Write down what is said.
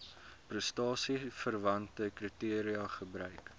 prestasieverwante kriteria gebruik